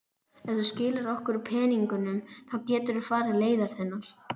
Ef þú skilar okkur peningunum þá geturðu farið leiðar þinnar.